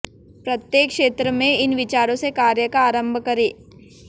प्रत्येक क्षेत्र में इन विचारों से कार्य का आरम्भ करें